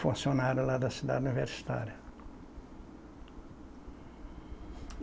Funcionário lá da cidade universitária.